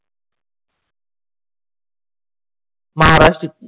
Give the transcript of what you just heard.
Maharashtra